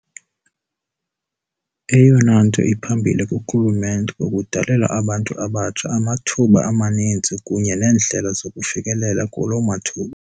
Eyona nto iphambili kurhulumente kukudalela abantu abatsha amathuba amaninzi kunye neendlela zokufikelela kuloo mathuba.